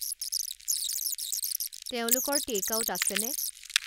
তেওঁলোকৰ টেক-আউট আছেনে